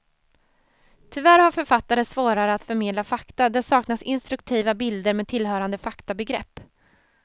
Tyvärr har författaren svårare att förmedla fakta, där saknas instruktiva bilder med tillhörande faktabegrepp.